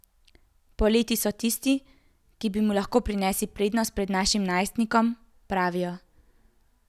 Poleti so tisti, ki bi mu lahko prinesli prednost pred našim najstnikom, pravijo.